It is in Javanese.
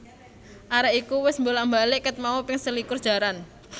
Arek iku wes mbolak mbalik ket mau ping selikur jaran